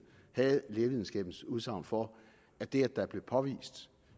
havde lægevidenskabens udsagn for at det at der bliver påvist